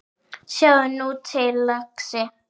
Sjáðu nú til, lagsi.